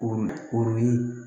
O o ye